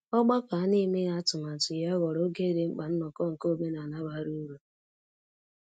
Ọgbakọ a na-emeghị atụmatụ ya ghọrọ oge di mkpa nnoko nke omenala bara uru.